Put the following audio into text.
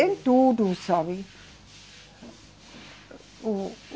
Em tudo, sabe? O, o